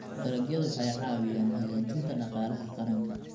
Dalagyadu waxay caawiyaan hagaajinta dhaqaalaha qaranka.